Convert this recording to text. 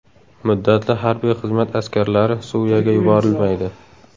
Muddatli harbiy xizmat askarlari Suriyaga yuborilmaydi.